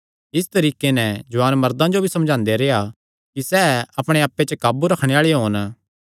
इस तरीके नैं जुआन मर्दां जो भी समझांदे रेह्आ कि सैह़ भी अपणे आप्पे पर काबू करणे आल़े होन